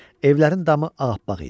Evlərin damı ağappaq idi.